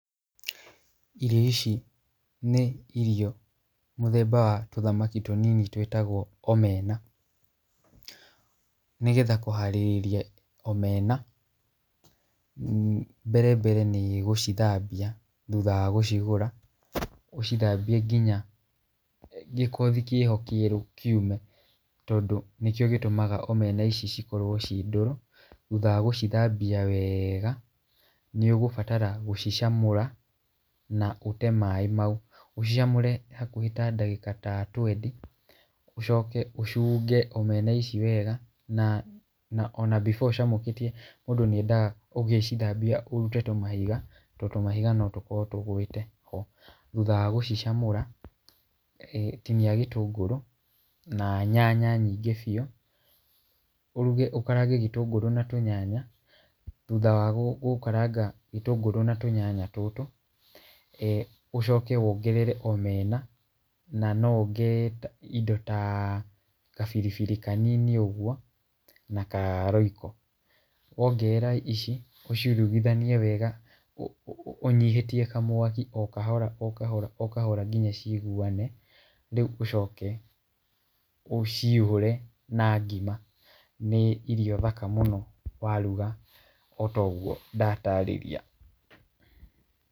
Irio ici nĩ mũthemba irio mũthemba wa tũthamaki tũnini twĩtagwo Omena, nĩgetha kũharĩrĩria Omena , mbere mbere nĩgũcithambia thutha wa gũcigũra nginya gĩkothi kĩho kĩeru kĩume , tondũ nĩkĩo gĩtũmaga omena ici ikorwo ci ndũrũ, thutha wa gũcithambia wega, nĩ ũgũbatara gũcicamũra na ũte maaĩ mau, ũcicamũre hakuhĩ ta ndagĩka ta twendi , ũcoke ũcũnge Omena ici wega , na ona before ũcamũkĩtie mũndũ nĩ endage ũgĩcithambia ũrute tũmahiga, tondũ tũmahiga no tũkorwo tũgwĩte ho, thutha wa gũcicamũra, tinia gĩtũngũrũ na nyanya nyingĩ biũ, ũruge ũkarange gĩtũngũrũ na tũnyanya, thutha wa gũkaranga gĩtũngũrũ na tũnyanya tũtũ, e ũcoke wongerere Omena, na no wongerere indo ta kabiribiri kanini ũgwo na karoyco, wongerera ici ũciuruganie wega , ũnyihĩtie kamwaki o kahora o kahora o kahora nginya ciguane, rĩu ũcoke ũcihũre na ngima, nĩ irio thaka mũno waruga ota ũgwo ndatarĩria.